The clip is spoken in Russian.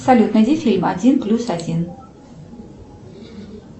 салют найди фильм один плюс один